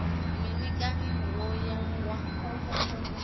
mini kani wo ya wa